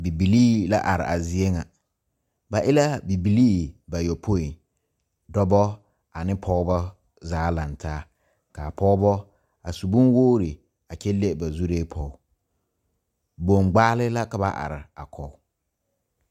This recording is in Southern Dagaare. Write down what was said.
Bibilee la are a zie ŋa ba e la bibile bayoɔpoi dɔɔba ane Pɔgebo zaa laŋ taa kaa Pɔgebo a su bon wogi kyɛ leŋ ba zure poɔ bongbale la ka ba are a kɔge.